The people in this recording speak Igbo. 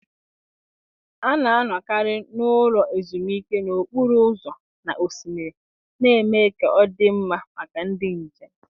A na-anọkarị n'ụlọ ezumike n'okporo ụzọ na osimiri, na-eme ka ọ dị mma maka ndị njem